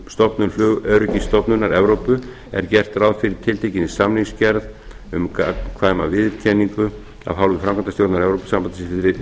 stofnun flugöryggisstofnunar evrópu er gert ráð fyrir tiltekinni samningsgerð um gagnkvæma viðurkenningu af hálfu framkvæmdastjórnar evrópusambandsins við